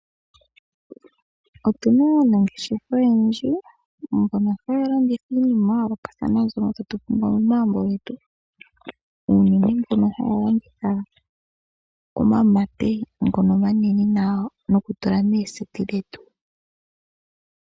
Otuna aanangeshefa oyendji mbono haya landitha iinima ya yoolokathana mbyono tatu pumbwa momagumbo getu. Unene mbono haya landitha omamate ngono omanene nawa nokutula mooseti dhetu.